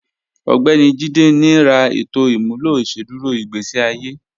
Ọgbẹ̀ni Jíde ní rà ètò imúlọ̀ ìṣẹ̀dúrò igbésí àye